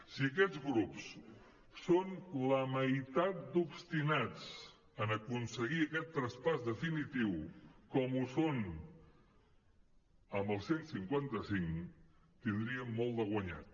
si aquests grups són la meitat d’obstinats en aconseguir aquest traspàs definitiu com ho són amb el cent i cinquanta cinc tindríem molt de guanyat